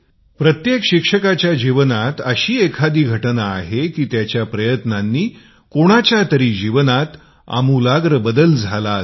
प्रत्येक शिक्षकाच्या जीवनात अशी एखादी घटना आहे की त्याच्या प्रयत्नांनी कोणाच्या तरी जीवनात परिवर्तनामुळे बदल झाला असेल